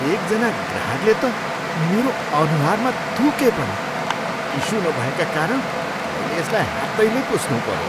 एकजना ग्राहकले त मेरो अनुहारमा थुके पनि। टिस्यु नभएका कारण मैले यसलाई हातैले पुछ्नुपऱ्यो।